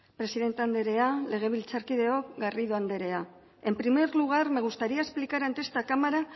presidente andrea legebiltzarkideok garrido andrea en primer lugar me gustaría explicar ante esta cámara